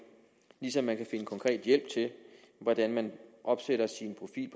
ligesom man kan finde konkret hjælp til hvordan man opsætter sin profil